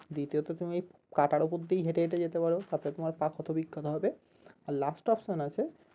দ্বিতীয়ত তুমি কাটার উপর দিয়েই হেটে হেটে যেতে পারো তাতে তোমার পা ক্ষত বিক্ষত হবে আর last option আছে